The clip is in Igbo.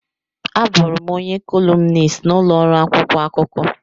Abụụrụ m onye kọlumnist n'ụlọ ọrụ akwụkwọ akụkọ.